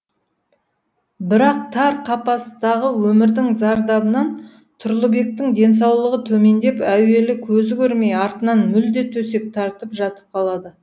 бірақ тар қапастағы өмірдің зардабынан тұрлыбектің денсаулығы төмендеп әуелі көзі көрмей артынан мүлде төсек тартып жатып қалады